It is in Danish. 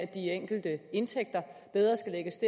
de enkelte indtægter